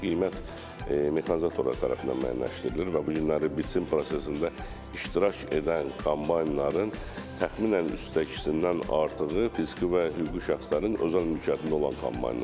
Qiymət mexanizatorlar tərəfindən müəyyənləşdirilir və bu günləri biçin prosesində iştirak edən kombaynların təxminən üçdə ikisindən artığı fiziki və hüquqi şəxslərin özəl mülkiyyətində olan kombaynlardır.